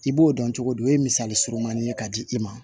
I b'o dɔn cogo di o ye misali surumanni ye ka di i ma